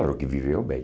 Claro que viveu bem.